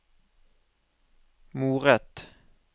moret